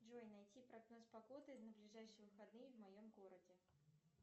джой найди прогноз погоды на ближайшие выходные в моем городе